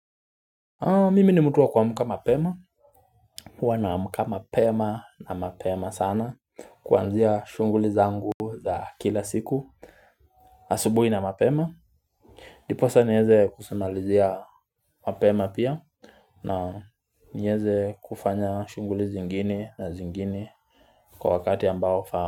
Mimi ni mtu wa kuamka mapema Huwa na amka mapema na mapema sana Kuanzia shunguli zangu za kila siku asubuhi na mapema Diposa niweze kusimalizia mapema pia na niweze kufanya shunguli zingine na zingine Kwa wakati ambao unafaa.